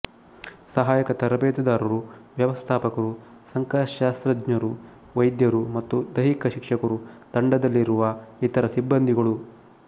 ಸಹಾಯಕ ತರಬೇತುದಾರರು ವ್ಯವಸ್ಥಾಪಕರು ಸಂಖ್ಯಾಶಾಸ್ತ್ರಜ್ಞರು ವೈದ್ಯರು ಮತ್ತು ದೈಹಿಕ ಶಿಕ್ಷಕರು ತಂಡದಲ್ಲಿರುವ ಇತರ ಸಿಬ್ಬಂದಿಗಳು